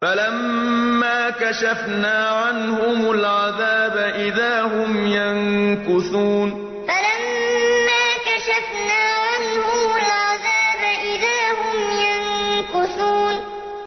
فَلَمَّا كَشَفْنَا عَنْهُمُ الْعَذَابَ إِذَا هُمْ يَنكُثُونَ فَلَمَّا كَشَفْنَا عَنْهُمُ الْعَذَابَ إِذَا هُمْ يَنكُثُونَ